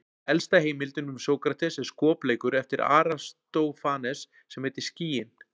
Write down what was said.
Elsta heimildin um Sókrates er skopleikur eftir Aristófanes sem heitir Skýin.